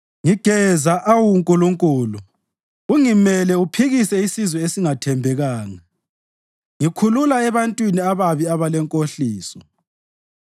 Ngigeza, awu Nkulunkulu, ungimele uphikise isizwe esingathembekanga; ngikhulula ebantwini ababi abalenkohliso.